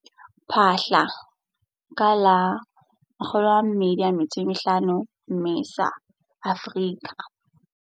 Phaahla, ka la 25 Mmesa, Afrika.